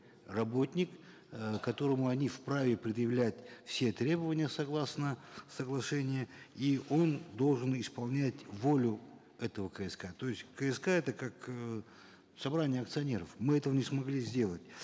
работник э которому они вправе предъявлять все требования согласно соглашения и он должен исполнять волю этого кск то есть кск это как э собрание акционеров мы этого не смогли сделать